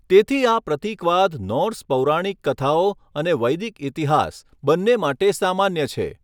તેથી આ પ્રતીકવાદ નોર્સ પૌરાણિક કથાઓ અને વૈદિક ઇતિહાસ બંને માટે સામાન્ય છે.